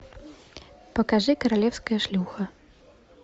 покажи королевская шлюха